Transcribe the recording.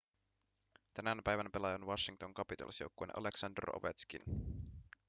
tänään päivän pelaaja on washington capitals joukkueen aleksandr ovetškin